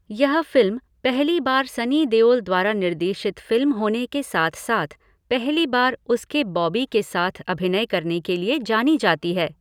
यह फ़िल्म पहली बार सनी देओल द्वारा निर्देशित फ़िल्म होने के साथ साथ पहली बार उसके बॉबी के साथ अभिनय करने के लिए जानी जाती है।